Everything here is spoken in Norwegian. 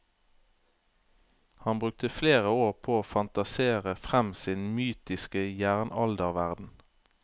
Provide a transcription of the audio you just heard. Han brukte flere år på å fantasere frem sin mytiske jernalderverden.